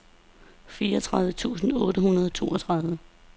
fireogtredive tusind otte hundrede og toogtredive